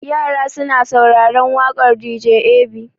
Yara suna sauraren waƙar dj ab.